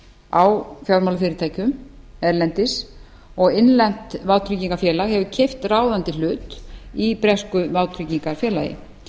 á fjármálafyrirtækjum erlendis og innlent vátryggingafélag hefur keypt ráðandi hlut í bresku vátryggingafélagi